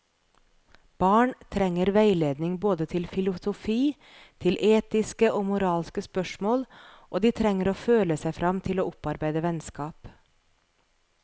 Barn trenger veiledning både til filosofi, til etiske og moralske spørsmål, og de trenger å føle seg frem til å opparbeide vennskap.